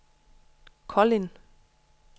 Kolind